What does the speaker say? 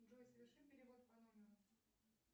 джой соверши перевод по номеру